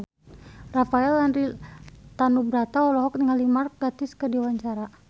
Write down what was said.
Rafael Landry Tanubrata olohok ningali Mark Gatiss keur diwawancara